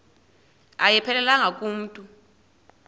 ayiphelelanga ku mntu